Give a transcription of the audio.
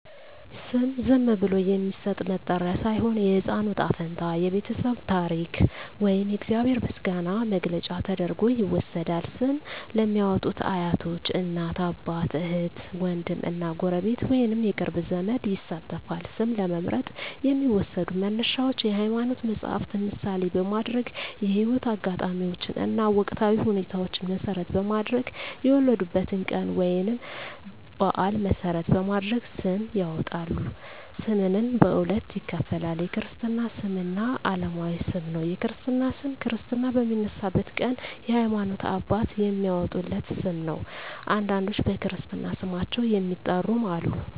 ስም ዝም ብሎ የሚሰጥ መጠሪያ ሳይሆን፣ የሕፃኑ ዕጣ ፈንታ፣ የቤተሰቡ ታሪክ ወይም የእግዚአብሔር ምስጋና መግለጫ ተደርጎ ይወሰዳል። ስም ለሚያዎጡት አያቶች፣ እናት አባት፣ እህት ዎንድም እና ጎረቤት ወይንም የቅርብ ዘመድ ይሳተፋል። ስም ለመምረጥ የሚዎሰዱ መነሻዎች የሀይማኖት መፀሀፍትን ምሳሌ በማድረግ፣ የህይወት አጋጣሚዎችን እና ወቅታዊ ሁኔታዎችን መሰረት በማድረግ፣ የወለዱበትን ቀን ወይንም በአል መሰረት በማድረግ ስም ያወጣሉ። ስምንም በሁለት ይከፈላል። የክርስትና ስም እና አለማዊ ስም ነው። የክርስትና ስም ክርስትና በሚነሳበት ቀን የሀይማኖት አባት የሚያዎጣለት ስም ነው። አንዳንዶች በክርስትና ስማቸው የሚጠሩም አሉ።